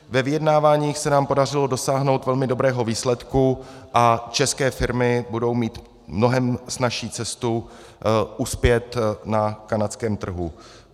Ve vyjednáváních se nám podařilo dosáhnout velmi dobrého výsledku a české firmy budou mít mnohem snazší cestu uspět na kanadském trhu.